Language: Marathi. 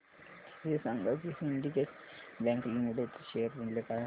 हे सांगा की सिंडीकेट बँक लिमिटेड चे शेअर मूल्य काय आहे